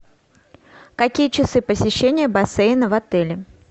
какие часы посещения бассейна в отеле